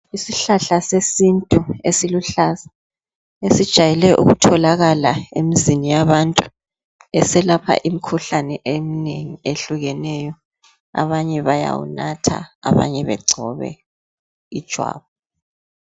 Isihlahla sesintu esiluhlaza esijayele ukutholakala emzini yabantu eselapha imikhuhlane eminengi eyehlukeneyo. Abanye bayawunatha, abanye begcobe ijwabu.